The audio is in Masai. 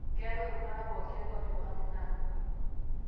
keetae oltuata pooki ake otipikaki na akwa